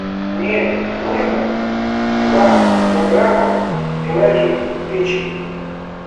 мне нужно два килограмма говяжьей печени